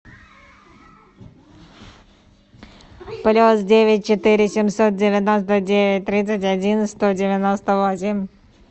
плюс девять четыре семьсот девяносто девять тридцать один сто девяносто восемь